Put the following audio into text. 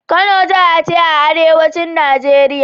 Kano jaha ce a arewacin Najeriya.